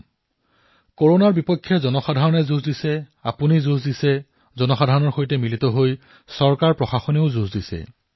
ভাৰতত কৰোনাৰ বিৰুদ্ধে যুঁজ জনতাই কৰিছে আপুনি যুঁজি আছে জনসাধাৰণৰ সৈতে লগ হৈ শাসন প্ৰশাসনে যুঁজি আছে